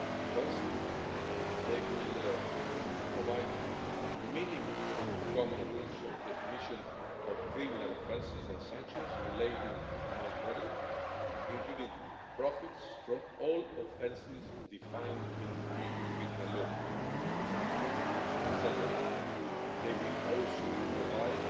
First, they will provide minimum common rules on the definition of criminal offences and sanctions relating to money laundering, including profits from all offences defined in EU criminal law. Second, they will also provide